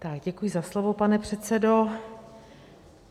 Tak děkuji za slovo, pane předsedo.